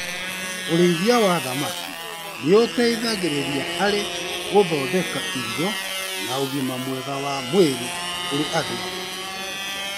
Ũrĩithia wa thamaki nĩ ũteithagĩrĩria harĩ gũthondeka irio na ũgima mwega wa mwĩrĩ kũri andũ.